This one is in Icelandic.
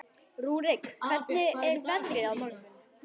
Rúrik, hvernig er veðrið á morgun?